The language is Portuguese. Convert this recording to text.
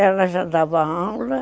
Ela já dava aula.